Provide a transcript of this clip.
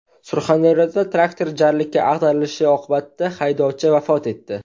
Surxondaryoda traktor jarlikka ag‘darilishi oqibatida haydovchi vafot etdi.